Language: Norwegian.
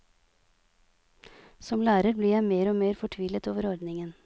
Som lærer blir jeg mer og mer fortvilet over ordningen.